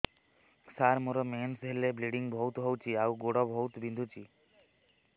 ସାର ମୋର ମେନ୍ସେସ ହେଲେ ବ୍ଲିଡ଼ିଙ୍ଗ ବହୁତ ହଉଚି ଆଉ ଗୋଡ ବହୁତ ବିନ୍ଧୁଚି